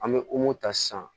An bɛ ta sisan